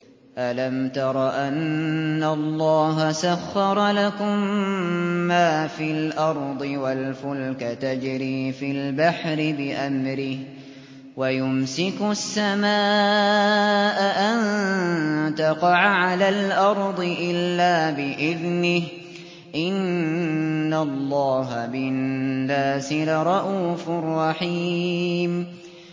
أَلَمْ تَرَ أَنَّ اللَّهَ سَخَّرَ لَكُم مَّا فِي الْأَرْضِ وَالْفُلْكَ تَجْرِي فِي الْبَحْرِ بِأَمْرِهِ وَيُمْسِكُ السَّمَاءَ أَن تَقَعَ عَلَى الْأَرْضِ إِلَّا بِإِذْنِهِ ۗ إِنَّ اللَّهَ بِالنَّاسِ لَرَءُوفٌ رَّحِيمٌ